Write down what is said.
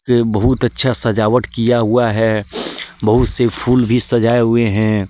ये बहुत अच्छा सजावट किया हुआ है। बहुत से फूल भी सजाए हुए हैं।